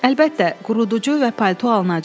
Əlbəttə, quruducu və palto alınacaq.